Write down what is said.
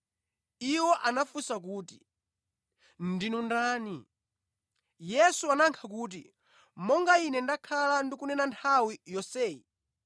Iwo anafunsa kuti, “Ndinu ndani?” Yesu anayankha kuti, “Monga Ine ndakhala ndikunena nthawi yonseyi,